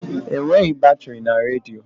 Enweghị batrị na redio.